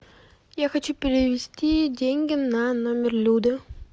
я хочу перевести деньги на номер люды